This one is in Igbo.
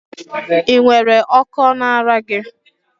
Ị nwere Okó na ara gị?